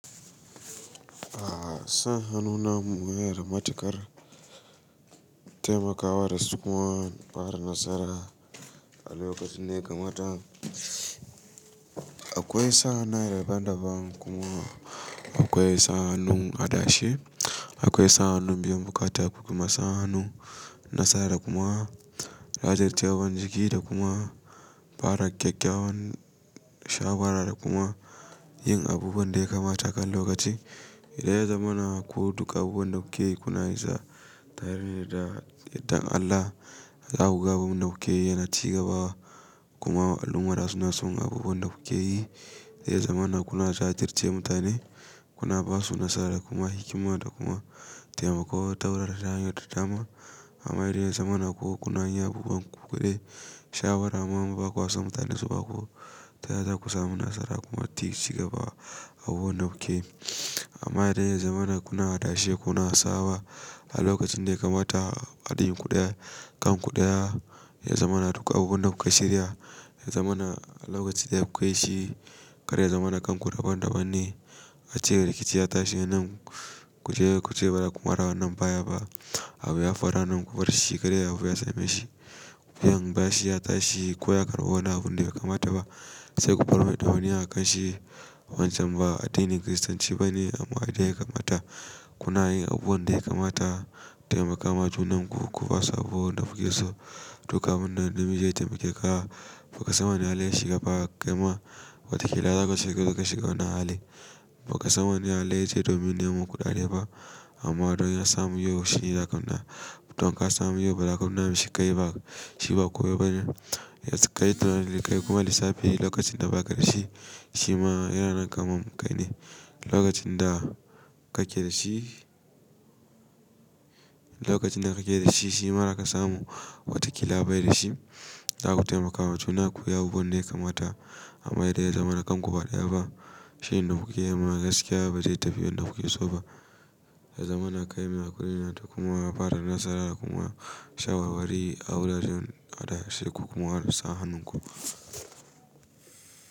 A sa hannu na muye da matukar taimakawa da su kuma, fara nasara a lokacin da ya kamata. Akwai sa hannu na daban-daban kuma akwai sa hannun adashe, akwai sa hannun biyan buƙatu, akwai kuma sa hannun nasara kuma, rajistar daban jigida kuma, fara gyaggyawan shawara da kuma yin abubuwan da ya kamata kan lokaci. Idan ya zamana ko duka abubuwan da kuke kuna yisa, tare da yadda Allah za ku ga abubuwan da kuke yana ci gaba kuma al'umrar suna son abubuwan da kuke yi. Idan ya zamana kuna jadirce mutane, kuna basu nasara da kuma hikima da kuma taimakawa taurara dangin da dama. Amma idan ya zamana kuwa kuna yin abubuwan kuɗaɗe, shawara, kuma baƙuwa sun mutane su baƙo, ta yaya za ku samu nasara kuma ci gaba a abubuwan da kuke yi? Amma idan ya zamana kuna adashe, kuna sawa a lokacin da ya kamata a addinin kuɗaya, kan kuɗaya, ya zamana duka abubuwan da kuke shirya, ya zamana a lokacin da kuka yishi, karya zamana kan ku daban-daban ne. Ace rikici ya tashi anan ku je kuce ba da ku kwara wannan bayan ba. Abu ya faru anan ku bar shi kadai abun ya same shi. Wuyan bashi ya tashi ko ya karɓo wani abun da bai kamata ba. Sai ku bar wani ya kashe wancan ba a addinin Kiristanci ba ne amma a da ya kamata. Kuna yin abubuwan da ya kamata, taimakama junan ku, kuka sabo da kuke so. Duk abun da na miji ya taimake ka. Baƙa san wani halin ya shiga ba, kai ma watakila za ka shiga, za ka shiga wani hali. Baƙa san wani yalle ya je domin neman kuɗaɗe ba amma don ya samu yau shi ya lakabta. Don ka samu yau ba lakabta shi kai ba, shi ba kowa ba ne. Ya kai tunani da kai kuma lissafi lokacin da ba ka da shi, shi ma yana nan kamar kai ne. Lokacin da kake da shi, lokacin da kake da shi, shi ma da ka samu watakila bai da shi. Za ku taimakawa juna ku yi abubuwan da ya kamata amma idan ya zamana kan ku baɗaya ba, shin da kuke yi ma gaskiya ba zai tafi yadda kuke so ba. Ya zamana kai yana kula da yana da kuma fara nasara kuma shawarwari a wuraren adashe ku kuma sa hannun ku.